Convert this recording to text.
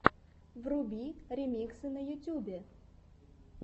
вруби ремиксы на ютюбе